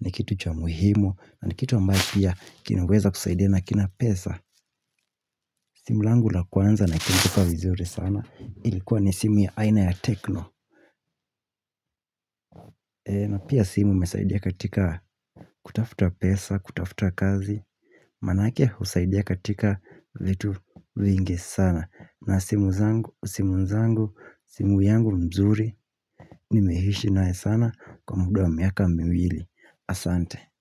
ni kitu cha muhimu. Na nikitu ambae pia kinaweza kusaidia na kina pesa simu langu la kwanza naikumbuka vizuri sana ilikuwa ni simu ya aina ya tekno na pia simu imesaidia katika kutafuta pesa, kutafuta kazi Manake husaidia katika vetu vingi sana na simu zangu, simu zangu, simu yangu mzuri Nimehishi nae sana kwa muda wa miaka miwili Asante.